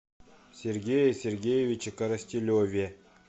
сергее сергеевиче коростелеве